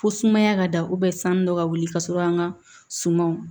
Fo sumaya ka da sanu dɔ ka wuli ka sɔrɔ an ka sumanw